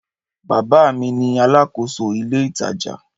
Bábà mi ni aláàkòso ile itaja.